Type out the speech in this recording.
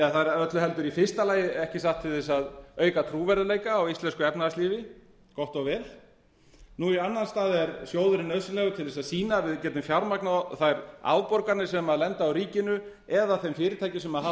það er öllu heldur í fyrsta lagi ekki sátt til þess að auka trúverðugleika á íslensku efnahagslífi gott og vel nú í annan stað er sjóðurinn nauðsynlegur til þess að sýna að við getum fjármagnað þær afborganir sem lenda á ríkinu eða þeim fyrirtækjum sem hafa